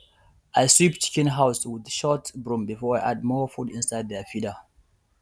i sweep chicken house with short broom before i add more food inside their feeder